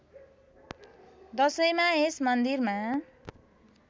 दशैँमा यस मन्दिरमा